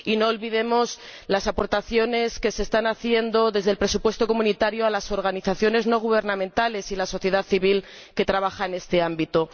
Y no olvidemos las aportaciones que se están haciendo desde el presupuesto comunitario a las organizaciones no gubernamentales y a la sociedad civil que trabajan en este ámbito.